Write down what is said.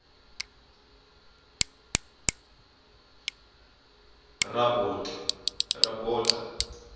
rabota